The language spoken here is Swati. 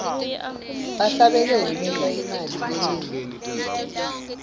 bahlabeleli benta imali lenengi